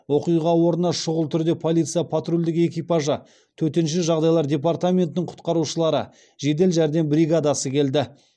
оқиға орнына шүғыл түрде полиция патрульдік экипажы төтенше жағдайлар департаментінің құтқарушылары жедел жәрдем бригадасы келді